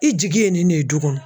I jigi ye nin de ye du kɔnɔ.